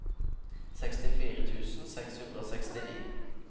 sekstifire tusen seks hundre og sekstini